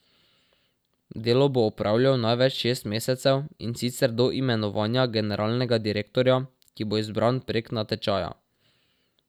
Delo bo opravljal največ šest mesecev, in sicer do imenovanja generalnega direktorja, ki bo izbran prek natečaja.